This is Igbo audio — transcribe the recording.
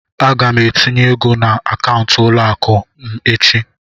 Aga m etinye ego n'akaụntụ ụlọ akụ m echi.